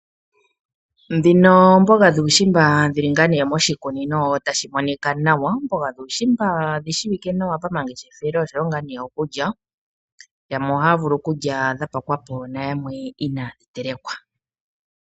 Ndhino oomboga dhuushimba dhili ngaa nee moshikunino tashi monika nawa. Oomboga dhuushimba odhi shiwike nawa pamangeshefelo oshowo ngaa nee okulya . Yamwe ohaya vulu okulya dha pakwapo nayamwe inaadhi telekwa.